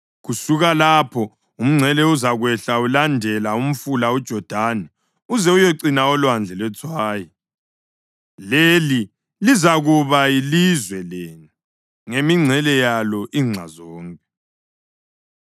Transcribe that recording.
Kusuka lapho umngcele uzakwehla ulandela umfula uJodani uze uyecina oLwandle lweTswayi. Leli lizakuba yilizwe lenu, ngemingcele yalo inxa zonke.’ ”